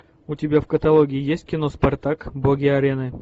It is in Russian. у тебя в каталоге есть кино спартак боги арены